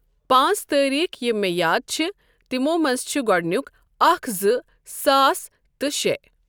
پانٛژھ تٲریٖخ یم مےٚ یاد چھِ تِمو منٛزٕ چھ گۄڈنیُک اَکھ زٕ ساس تہٕ شےٚ۔